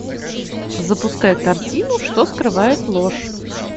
запускай картину что скрывает ложь